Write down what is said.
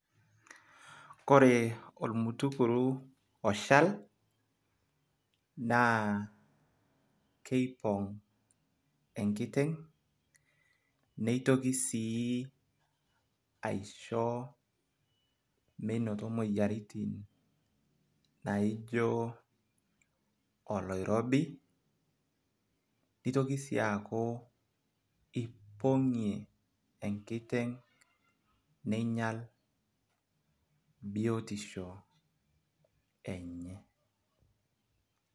ore olmutukuru oshal naa keipong' enkiteng' nitoki sii aisho menoto moyiaritin naijo oloirobi. nitoki sii aaku ipong'ie enkiteng' ning'ial biotisho enye.